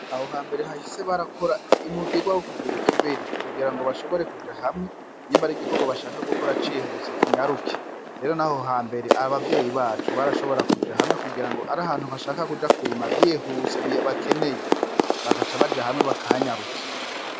Aho hambere hahise barakora umugirwa wokugira ikiberi, kugira ngo bashobore kuja hamwe nimba hari igikorwa bashaka gukora cihuse kinyaruke, rero naho hambere abo bavyeyi bacu barashobora kuja hamwe kugira ngo ari ahantu bashaka kuja kurima vyihuse bakeneye bagaca baja hamwe bakahanyarutsa.